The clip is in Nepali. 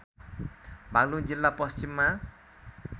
बागलुङ जिल्ला पश्चिममा